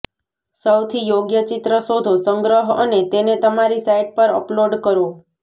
સૌથી યોગ્ય ચિત્ર શોધો સંગ્રહ અને તેને તમારી સાઇટ પર અપલોડ કરો